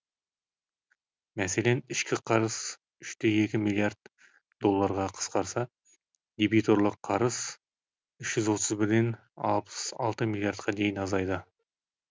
мәселен ішкі қарыз үште екі миллиард долларға қысқарса дебиторлық қарыз үш жүз отыз бірден алпыс алты миллиардқа дейін азайды